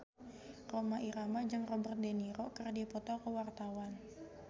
Rhoma Irama jeung Robert de Niro keur dipoto ku wartawan